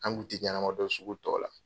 An kun tɛ ɲɛnama dɔn sugu tɔ la.